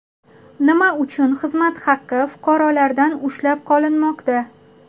Nima uchun xizmat haqi fuqarolardan ushlab qolinmoqda?